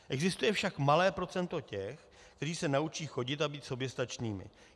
Existuje však malé procento těch, kteří se naučí chodit a být soběstačnými.